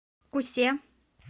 кусе